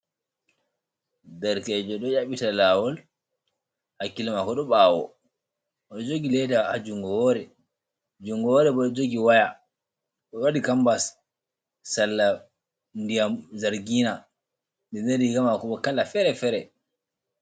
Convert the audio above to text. Derkeejo ɗon ƴaɓɓita laawol, hakkilo maako ɗon ɓaawo, oɗon jogi leda haa junngo woore, junngo woore boh ɗon jogi woya, ɗon waɗi kambas sarla Ndiyam Jargina, nden riga maako ɓoh kala feere feere.